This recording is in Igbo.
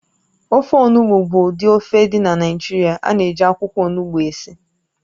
Ofe onugbụ bụ ụdị ofe dị na Naịjirịa ánà -eji akwụkwọ ọnụgbu esi